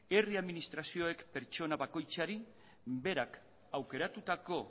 herri administrazioek pertsona bakoitzari berak aukeratutako